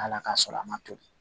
Ala ka sɔrɔ a ma toli